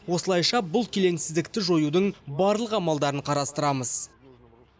осылайша бұл келеңсіздікті жоюдың барлық амалдарын қарастырамыз